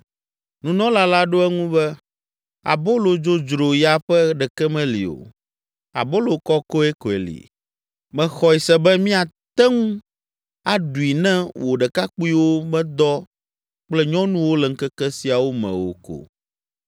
Nunɔla la ɖo eŋu be, “Abolo dzodzro ya ƒe ɖeke meli o; abolo kɔkɔe koe li. Mexɔe se be miate ŋu aɖui ne wò ɖekakpuiwo medɔ kple nyɔnuwo le ŋkeke siawo me o ko.”